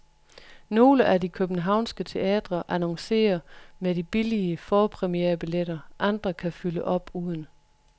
Nogle af de københavnske teatre annoncerer med de billige forpremierebilletter, andre kan fylde op uden.